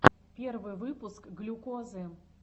первый выпуск глюкозы